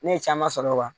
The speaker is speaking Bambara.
Ne ye caman sɔrɔ